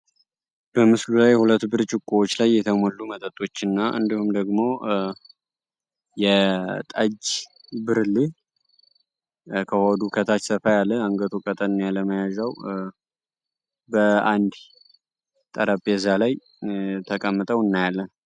በምስሉ ላይ ሁለት ብርጭቆዎች ላይ የተሞሉ መጠጦች እና እንዲሁም ደግሞ የጠጅ ብርሌ ከሆዱ ከታች ሰፋ ያለ አነገቱ ቀጠን ያለ መያጃው ከአንድ ጠረጴዛ ላይ ተቀምጠው እናያለን።